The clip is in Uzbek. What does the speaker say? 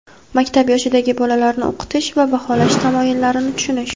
Maktab yoshidagi bolalarni o‘qitish va baholash tamoyillarini tushunish.